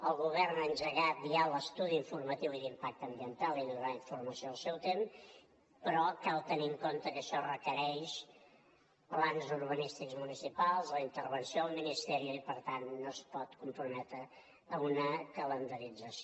el govern ha engegat ja l’estudi informatiu i d’impacte ambiental i donarà informació al seu temps però cal tenir en compte que això requereix plans urbanístics municipals la intervenció del ministerio i per tant no es pot comprometre a una calendarització